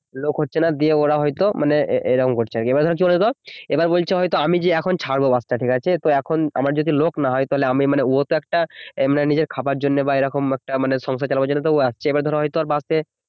লোক হচ্ছে না দিয়ে ওরা হয়তো এরকম করছে কি বলছে বলতো এবার বলছে যে আমি ছাড়বো এখন বাস টা ঠিক আছে তো এখন আমার যদি লোক না হয় তাহলে আমি মানে ও তো একটা নিজের মানে খাবারের জন্য বা এই রকম একটা সংসার চালাবার জন্য তো ও আসছে এবার হয়তো ধরো ওর বাসে